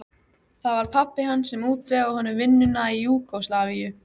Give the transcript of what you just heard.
Það var pabbi hans sem útvegaði honum vinnuna í Júgóslavíu.